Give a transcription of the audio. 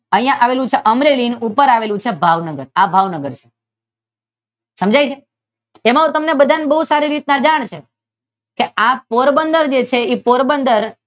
અહિયાં આવેલૂ છે અમરેલી અને ઉપર આવેલું છે ભાવનગર આ ભાવનગર સમજાય છે એને તમને બધાને સારી રીતે જાણ છે આ પોરબંદર છે તે પોરબંદર નામ